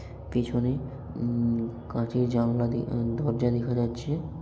পিছনে উম কাঁচের জানালা দ-দরজা দেখা যাচ্ছে।